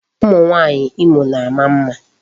Ụmụ nwaanyị Imo na-ama mma.